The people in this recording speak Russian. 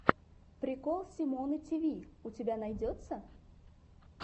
прикол симоны тиви у тебя найдется